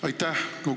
Aitäh!